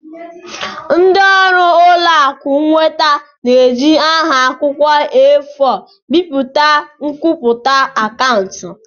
Ndị ọrụ ụlọ akụ nweta na-eji nha akwụkwọ A4 bipụta nkwupụta akaụntụ.